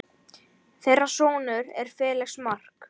Þeirra sonur er Felix Mark.